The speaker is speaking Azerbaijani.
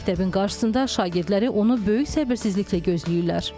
Məktəbin qarşısında şagirdləri onu böyük səbirsizliklə gözləyirlər.